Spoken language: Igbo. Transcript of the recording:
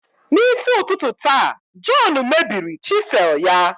N'isi ụtụtụ taa, John mebiri chisel ya.